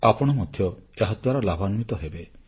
ଆପଣ ମଧ୍ୟ ଏହାଦ୍ୱାରା ଲାଭାନ୍ୱିତ ହେବେ